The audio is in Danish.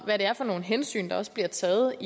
hvad det er for nogle hensyn der også bliver taget